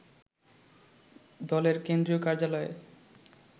দলের কেন্দ্রীয় কার্যালয়ে